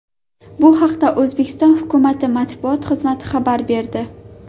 Bu haqda O‘zbekiston hukumati matbuot xizmati xabar berdi .